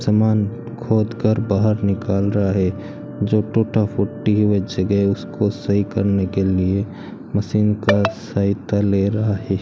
सामान खोद कर बाहर निकाल रहा है जो टूटा फूटी वह जगह उसको सही करने के लिए मशीन का सहायता ले रहा है।